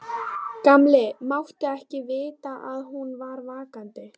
Gamli mátti ekki vita að hún var vakandi.